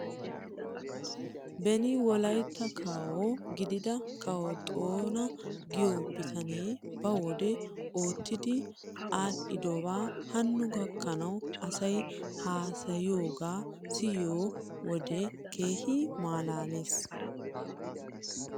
Beni wolaytta kawo gidida kawo xoona giyoo bitanee ba wode oottidi aadhdhidobaa hano gakkanaw asay haasayiyoogaa siyoo wodiyan keehi malaales.